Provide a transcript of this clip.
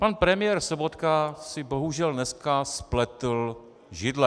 Pan premiér Sobotka si bohužel dneska spletl židle.